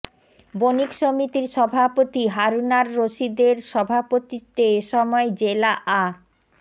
বনিক সমিতির সভাপতি হারুনার রশিদের সভাপতিত্বে এ সময় জেলা আ